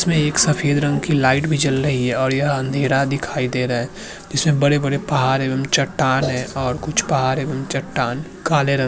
इसमें एक सफेद रंग की लाइट भी जल रही है और यह अंधेरा दीखाई दे रहा है इसमें बड़े-बड़े पहार है चट्टान है और कुछ पहार भी चट्टान काले रंग--